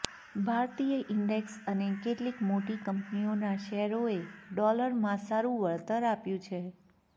ભારતીય ઈન્ડેક્સ અને કેટલીક મોટી કંપનીઓના શેરોએ ડોલરમાં સારું વળતર આપ્યું છે